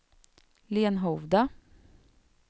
Lenhovda